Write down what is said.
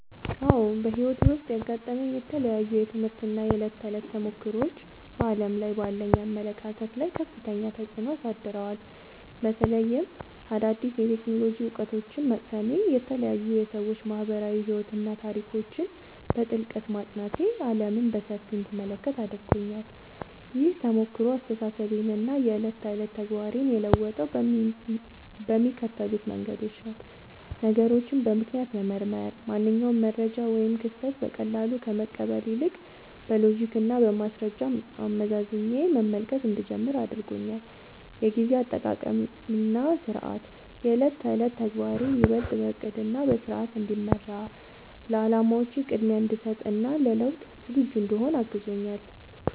አዎ፣ በሕይወቴ ውስጥ ያጋጠሙኝ የተለያዩ የትምህርት እና የዕለት ተዕለት ተሞክሮዎች በዓለም ላይ ባለኝ አመለካከት ላይ ከፍተኛ ተጽዕኖ አሳድረዋል። በተለይም አዳዲስ የቴክኖሎጂ እውቀቶችን መቅሰሜ፣ የተለያዩ የሰዎች ማኅበራዊ ሕይወትና ታሪኮችን በጥልቀት ማጥናቴ ዓለምን በሰፊው እንድመለከት አድርጎኛል። ይህ ተሞክሮ አስተሳሰቤንና የዕለት ተዕለት ተግባሬን የለወጠው በሚከተሉት መንገዶች ነው፦ ነገሮችን በምክንያት መመርመር፦ ማንኛውንም መረጃ ወይም ክስተት በቀላሉ ከመቀበል ይልቅ፣ በሎጂክና በማስረጃ አመዛዝኜ መመልከት እንድጀምር አድርጎኛል። የጊዜ አጠቃቀምና ሥርዓት፦ የዕለት ተዕለት ተግባሬ ይበልጥ በዕቅድና በሥርዓት እንዲመራ፣ ለዓላማዎቼ ቅድሚያ እንድሰጥ እና ለለውጥ ዝግጁ እንድሆን አግዞኛል።